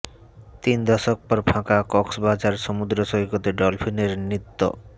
তিন দশক পর ফাঁকা কক্সবাজার সমুদ্র সৈকতে ডলফিনের নৃত্য